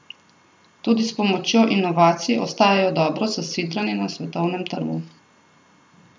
Tudi s pomočjo inovacij ostajajo dobro zasidrani na svetovnem trgu.